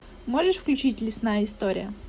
можешь включить лесная история